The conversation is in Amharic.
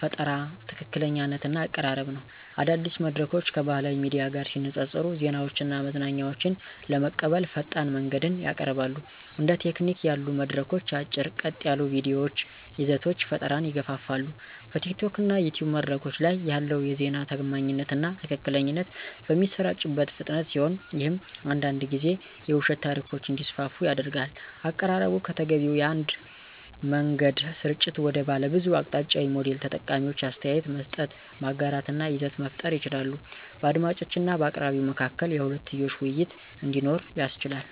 ፈጠራ፣ ትክክለኛነት እና አቀራረብ ነው። አዳዲስ መድረኮች ከባህላዊ ሚዲያ ጋር ሲነፃፀሩ ዜናዎችን እና መዝናኛዎችን ለመቀበል ፈጣን መንገድን ያቀርባሉ። እንደ ቲኪቶክ ያሉ መድረኮች አጭር፣ ቀጥ ያሉ የቪዲዮ ይዘቶች ፈጠራን ይገፋፋሉ። በቲኪቶክ እና ዩቲዩብ መድረኮች ላይ ያለው የዜና ታማኝነት እና ትክክለኛነት በሚሰራጭበት ፍጥነት ሲሆን ይህም አንዳንድ ጊዜ የውሸት ታሪኮች እንዲስፋፉ ያደርጋል። አቀራረቡ ከተገቢው የአንድ መንገድ ስርጭት ወደ ባለብዙ አቅጣጫዊ ሞዴል ተጠቃሚዎች አስተያየት መስጠት፣ ማጋራት እና ይዘት መፍጠር ይችላሉ። በአድማጮች እና በአቅራቢው መካከል የሁለትዮሽ ውይይት እንዲኖር ያስችላል።